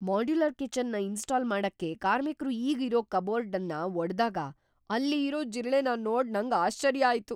Modular ಕಿಚನ್ನ install ಮಾಡಕ್ಕೆ ಕಾರ್ಮಿಕ್ರು ಈಗ ಇರೋ ಕಬೋರ್ಡ್ ಅನ್ನ ಒಡ್ದಾಗ ಅಲ್ಲಿ ಇರೋ ಜಿರಳೆನ ನೋಡ್ ನಂಗ್ ಆಶ್ಚರ್ಯ ಆಯ್ತು.